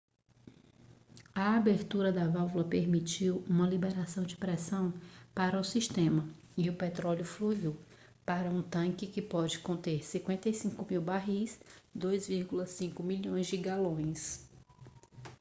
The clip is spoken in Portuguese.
a abertura da válvula permitiu uma liberação de pressão para o sistema e o petróleo fluiu para um tanque que pode conter 55.000 barris 2,3 milhões de galões